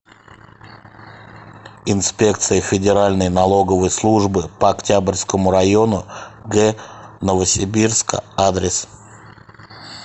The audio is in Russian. инспекция федеральной налоговой службы по октябрьскому району г новосибирска адрес